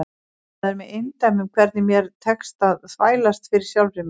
Það er með eindæmum hvernig mér tekst að þvælast fyrir sjálfri mér.